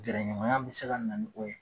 Gɛrɛɲɔgɔnya bɛ se ka na ni o ye.